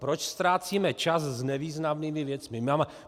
Proč ztrácíme čas s nevýznamnými věcmi?